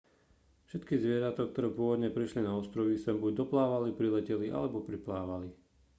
všetky zvieratá ktoré pôvodne prišli na ostrovy sem buď doplávali prileteli alebo priplávali